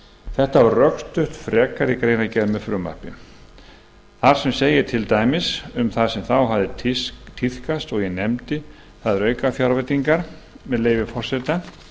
þetta var rökstutt frekar í greinargerð með frumvarpinu þar sem segir til dæmis um það sem þá hafði tíðkast og ég nefndi það eru aukafjárveitingar með leyfi forseta